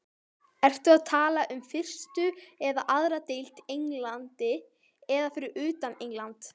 Ertu að tala um fyrstu eða aðra deild í Englandi eða fyrir utan England?